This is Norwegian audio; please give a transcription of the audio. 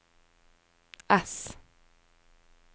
ess